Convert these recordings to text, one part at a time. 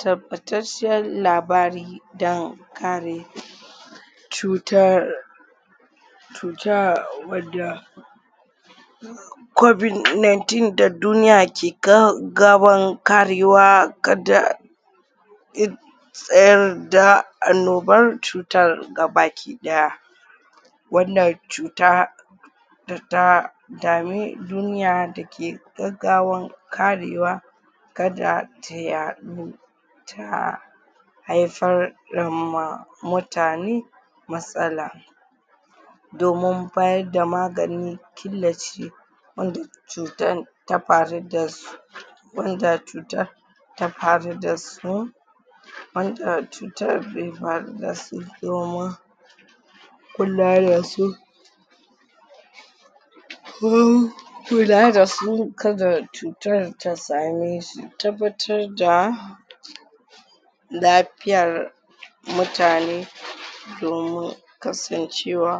tabbatacciyar labari don kare cutar cuta wadda kobid nineteen da duniya ke ka gaban karewa kada tsayar da annobar cutar ga baki ɗaya wannan cuta data dame duniya dake gaggawan karewa kada ta yaɗu ta haifar da ma mutane matsala domin bayadda magani killace wanda cutan ta faru dashi wanda cutan ta faru dasu wanda cutar bai faru dasu domin kula dasu domin kula dasu kada cutar ta ame su tabbatar da lafiyar mutane domin kasancewa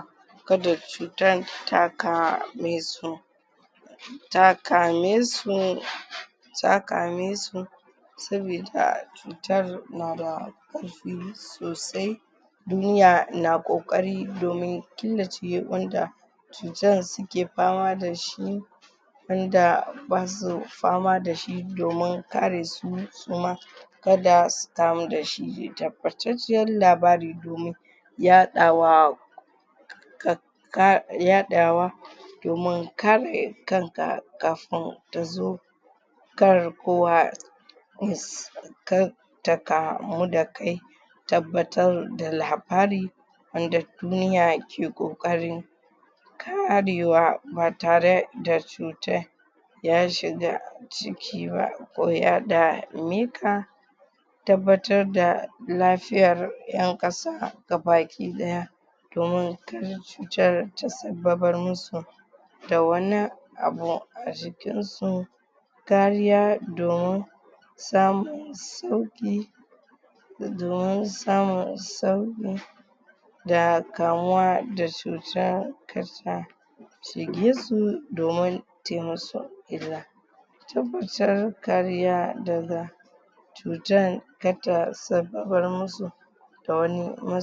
kada cutar ta kame su ta ka mesu ta kamesu sabida cutar nada ƙarfi sosai duniya na ƙoƙari domin killace wanda cutan suke fama dashi wanda basu fama dashi domin kare su suma kada su kamu dashi tabbatacciyan labari domin yaɗawa ka ka yaɗawa domin kare kanka kafin tazo kar kowa ya kar ta kamu da kai tabbatar da labari wanda duniya ke ƙoƙarin karewa ba tare da cutan ya shiga jiki ba ko ya dame ka tabbatar da lafiya ƴan ƙasa gabaki ɗaya domin kar cutar ta sabbabar musu da wani abu a jikin su kariya domin samun sauƙi da domin samun sauƙi da kamuwa da cuta kasa shige su domin tayi musu illa tabbatar kariya daga cutan karta sabbabar musu da wani